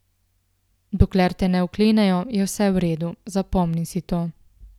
Dokler te ne vklenejo, je vse v redu, zapomni si to.